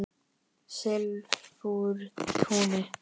Silfurtúni